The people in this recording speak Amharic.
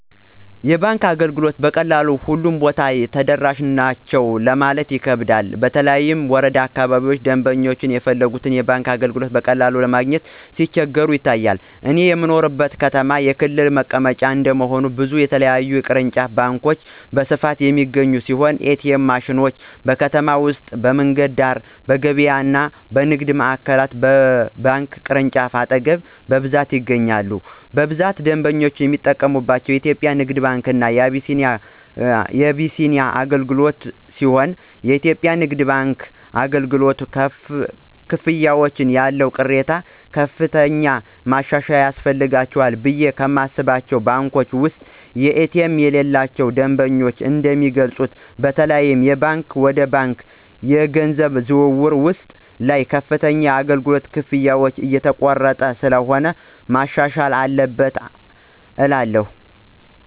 የባንክ አገልግሎቶችን በቀላሉ ሁሉም ቦታ ተደራሽ ናቸው ለማለት ይከብዳል በተለይ ወረዳ አካባቢዎች ደምበኞች የፈለጉትን የባንክ አገልግሎቶች በቀላሉ ለማግኘት ሲቸገሩ ይታያል። እኔ በምኖርበት ከተማ የክልሉ መቀመጫ እንደመሆኑ ብዙ የተለያዩ ቅርንጫፍ ባንኮች በስፋት የሚገኙ ሲሆን ኤ.ቲ.ኤም ማሽኖች: በከተማ ውስጥ በመንገድ ዳር፣ በገበያዎች፣ በንግድ ማዕከሎች እና በባንክ ቅርንጫፎች አጠገብ በብዛት ይገኛሉ። በብዛት ደንበኞች የሚጠቀምባቸው የኢትዮጽያ ንግድ ባንክ እና አቢሲኒያ አገልግሎትሲሆንየኢትዮጵያ ንግድ ባንክ አገልግሎት፨ ክፍያዎች ያለው ቅሬታ ከፍተኛ ማሻሻያ ያስፈልጋቸዋልቑ ብየ ከማስባቸው ባንኮች ውስጥ ኤ.ቲ.ኤም የሌላቸው ደንበኞች እንደሚገልጹት በተለይም የባንክ ወደ ባንክ የገንዘብ ዝውውር ውስጥ ላይ ከፍተኛ የአገልግሎት ክፍያዎች እየተቆረጡ ስለሆነ መሻሻል አለበት እላለሁ።